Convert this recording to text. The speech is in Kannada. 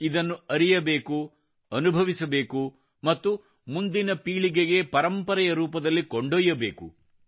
ಇದನ್ನು ಅರಿಯಬೇಕು ಅನುಭವಿಸಬೇಕು ಮತ್ತು ಮುಂದಿನ ಪೀಳಿಗೆಗೆ ಪರಂಪರೆ ರೂಪದಲ್ಲಿ ಕೊಂಡೊಯ್ಯಬೇಕು